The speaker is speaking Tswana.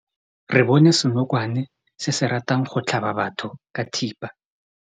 Re bone senokwane se se ratang go tlhaba batho ka thipa.